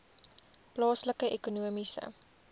plaaslike ekonomiese